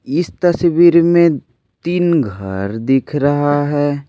इस तस्वीर मे तीन घर दिख रहा है।